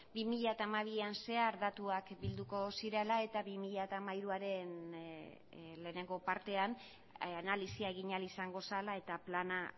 bi mila hamabian zehar datuak bilduko zirela eta bi mila hamairuaren lehenengo partean analisia egin ahal izango zela eta plana